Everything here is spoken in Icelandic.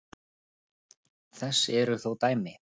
Þess eru þó dæmi.